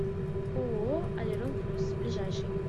ооо олерон плюс ближайший